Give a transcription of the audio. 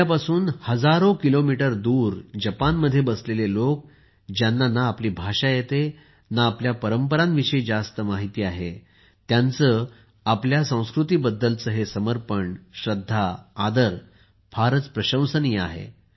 आपल्यापासून हजारो किलोमीटर दूर जपानमध्ये बसलेले लोक ज्यांना ना आपली भाषा येते ना आपल्या परंपरांविषयी जास्त माहिती आहे त्यांचे आपल्या संस्कृतीबद्दलचे समर्पण श्रद्धा आदर फारच प्रशंसनीय आहे